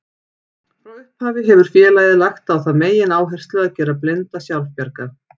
Frá upphafi hefur félagið lagt á það megináherslu að gera blinda sjálfbjarga.